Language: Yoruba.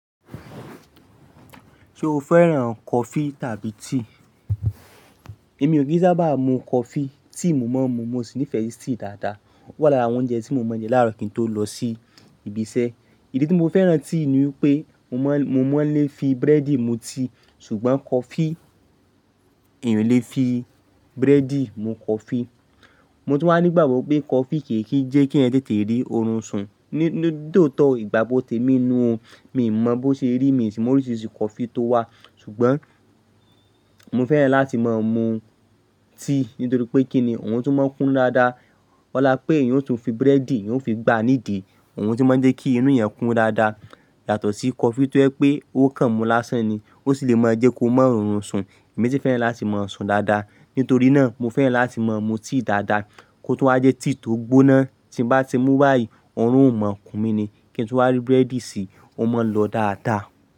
Ṣé o fẹ́ran coffee tàbí tea? Èmi ò kí sábà mu coffee, tea mo máa ń mu, mo sì nífẹ̀ẹ́ sí tea dáadáa. Ó wà lára àwọn oúnjẹ tí mo máa ń jẹ láàárọ̀ kí n tó lọ sí ibi iṣẹ́. Ìdí tí mo fẹ́ran tea ni wípé mo ma--mo máa ń lè fi búrẹ́dì mu tea, ṣùgbọ́n cọffee èeyan ò lè fi búrẹ́dì mu cọffee. Mo tún wà ní gbàgbọ́ pé coffee kì kì ń jẹ́ keeyan tètè rí orun sùn. Ní tòótọ́, ìgbàgbọ́ tè mi nuu o. Mi mọ bó ṣe rí, mi sì mọ oríṣiiríṣii coffee tó wà ṣùgbọ́n mo fẹ́ràn láti máa mu tea nítorí pé kíni, òun tún máa ń kúnnú dáadáa. Ọlá pé èeyan ó tún fi búrẹ́dì, èèyàn ó fi gbá nídìí, òun tún máa ń jẹ́ kí inú ẹeyan kún dáadáa. Yàtọ̀ sí coffee tó jẹ́ pé ó kan mú lásán ni, ó sì lè máa jẹ́ kó máa rọrùn sùn. Èmi sì fẹ́ràn láti máa sùn dáadáa. Nítorí náà mo fẹ́ràn láti máa mu tea dáadáa. Kó tún waa jẹ́ tea tó gbóná, tí n bá ti mú báyìí, orun ò mọ̀-ọ́n kun mí ni. Kí n tún wá rí búrẹ́dì sí, ó máa ń lọ dáadáa.